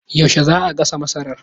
Yaushe zaa gasa masarar?